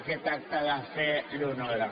aquest acte de fe l’honora